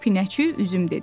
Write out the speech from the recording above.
Pinəçi Üzüm dedi.